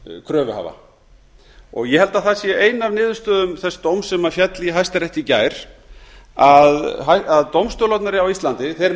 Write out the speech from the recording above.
kröfuhafa ég held að það sé ein af niðurstöðum þess dóms sem féll í hæstarétti í gær að dómstólarnir á íslandi